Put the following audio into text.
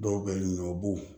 Dɔw bɛ ɲinɛ o b'o